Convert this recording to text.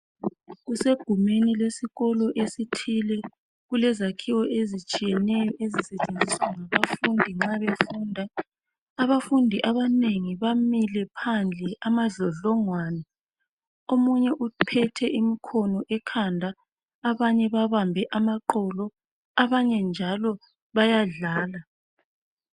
Kusegumeni lesikolo esithile, kulezakhiwo ezitshiyeneyo ezisetshenziswa ngabafundi nxa befunda . Abafundi abanengi bamile phandle amadlodlongwane . Omunye uphethe imkhono ekhanda .Abanye babambe amaqolo , abanye njalo bayadlala.